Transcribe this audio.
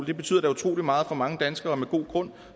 det betyder da utrolig meget for mange danskere og med god grund